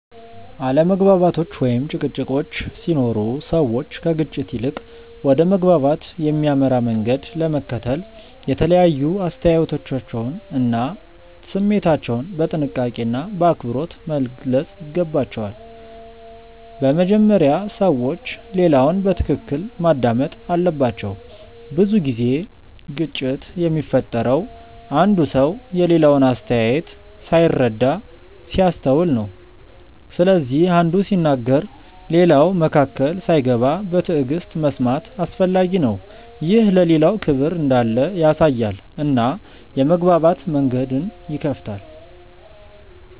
አለመግባባቶች ወይም ጭቅጭቆች ሲኖሩ ሰዎች ከግጭት ይልቅ ወደ መግባባት የሚያመራ መንገድ ለመከተል የተለያዩ አስተያየቶቻቸውን እና ስሜታቸውን በጥንቃቄና በአክብሮት መግለጽ ይገባቸዋል። በመጀመሪያ ሰዎች ሌላውን በትክክል ማዳመጥ አለባቸው። ብዙ ጊዜ ግጭት የሚፈጠረው አንዱ ሰው የሌላውን አስተያየት ሳይረዳ ሲያስተውል ነው። ስለዚህ አንዱ ሲናገር ሌላው መካከል ሳይገባ በትዕግሥት መስማት አስፈላጊ ነው። ይህ ለሌላው ክብር እንዳለ ያሳያል እና የመግባባት መንገድን ይከፍታል.